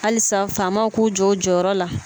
Alisa faamaw k'u jɔ u jɔyɔrɔ la